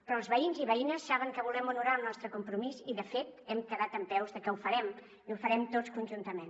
però els veïns i veïnes saben que volem honorar el nostre compromís i de fet ha quedat dempeus que ho farem i ho farem tots conjuntament